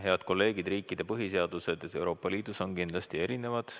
Head kolleegid, riikide põhiseadused Euroopa Liidus on kindlasti erinevad.